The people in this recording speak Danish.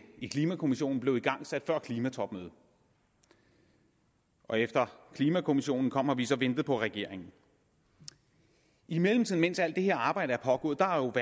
i klimakommissionen blev igangsat før klimatopmødet og efter klimakommissionen kom har vi så ventet på regeringen i mellemtiden mens alt det her arbejde er pågået